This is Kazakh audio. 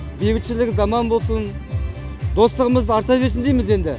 бейбітшілік заман болсын достығымыз арта берсін дейміз енді